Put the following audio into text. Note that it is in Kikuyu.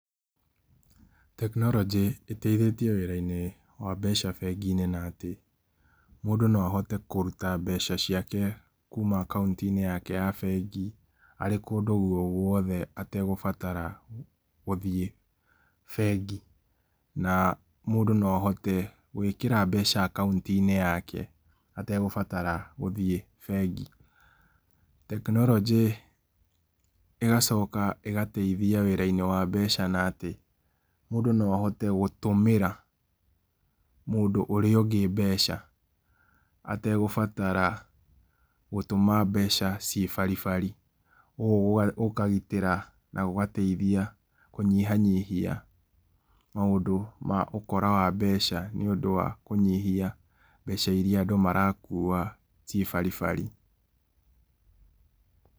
Tekinoronjĩ ĩteithĩtie wĩra inĩ wa mbeca bengi inĩ na atĩ , mũndũ no ahote kũrũta mbeca ciake kũma account-inĩ yake ya bengi arĩ kũndũ gũogũothe ategũbatara gũthiĩ bengi, na mũndũ no ahote gwĩkĩra mbeca account-inĩ yake ategũbatara gũthiĩ bengi. Tekinoronjĩ ĩgacoka ĩgatheithhia wĩra-inĩ wa mbeca, na atĩ mũndũ no ahote gũtũmĩra mũndũ ũrĩa ũngĩ mbeca ategũbatara gũtũma mbeca ciĩ baribari, ũguo gũkagitĩra na gũgateithia kũnyihanyihia maũndũ ma ũkora wa mbeca nĩ ũndũ wa kũnyihia mbeca irĩa andũ marakũa ciĩ baribari.